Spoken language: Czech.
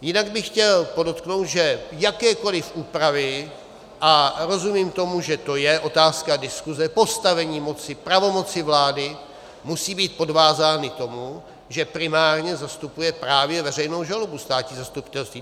Jinak bych chtěl podotknout, že jakékoliv úpravy, a rozumím tomu, že to je otázka diskuze, postavení moci, pravomoci vlády musí být podvázány tomu, že primárně zastupuje právě veřejnou žalobu státní zastupitelství.